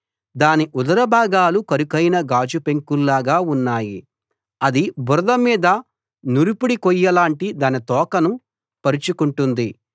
దాని ఉదర భాగాలు కరుకైన గాజు పెంకుల్లాగా ఉన్నాయి అది బురద మీద నురిపిడి కొయ్యలాంటి తన తోకను పరచుకుంటుంది